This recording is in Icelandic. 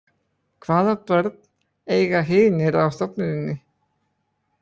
Hvaða börn eiga hinir á stofnuninni?